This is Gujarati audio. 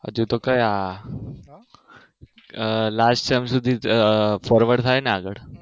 હજી તો કયા લાઈફ ટાઇમ સુધી સર્વર થાય ને આગળ